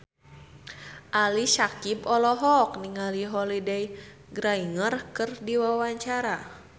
Ali Syakieb olohok ningali Holliday Grainger keur diwawancara